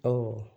Ɔ